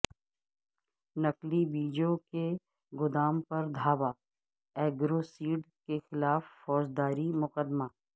نقلی بیجوں کے گودام پر دھاوا ایگروسیڈ کیخلاف فوجداری مقدمہ